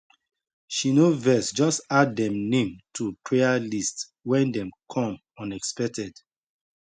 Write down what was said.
she no vex just add dem name to prayer list when dem come unexpected